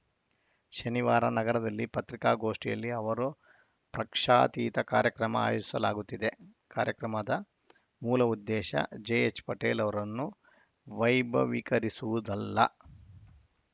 ಶನಿವಾರ ನಗರದಲ್ಲಿ ಪತ್ರಿಕಾಗೋಷ್ಠಿಯಲ್ಲಿ ಅವರು ಪ್ರಕ್ಷಾತೀತ ಕಾರ್ಯಕ್ರಮ ಆಯೋಸಲಾಗುತ್ತಿದೆ ಕಾರ್ಯಕ್ರಮದ ಮೂಲ ಉದ್ದೇಶ ಜೆಎಚ್‌ ಪಟೇಲ್‌ ಅವರನ್ನು ವೈಭವೀಕರಿಸುವುದಲ್ಲ